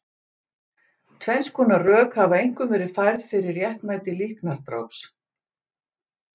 Tvenns konar rök hafa einkum verið færð fyrir réttmæti líknardráps.